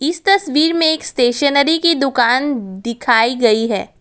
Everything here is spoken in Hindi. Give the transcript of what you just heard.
इस तस्वीर में एक स्टेशनरी की दुकान दिखाई गई है।